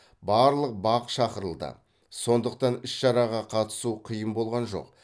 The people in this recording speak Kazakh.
барлық бақ шақырылды сондықтан іс шараға қатысу қиын болған жоқ